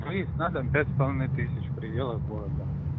выезд на дом пять с половиной тысяч в пределах города